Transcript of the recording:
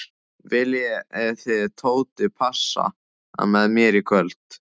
Viljið þið Tóti passa með mér í kvöld?